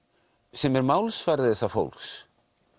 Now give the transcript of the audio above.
sem er málsvari þessa fólks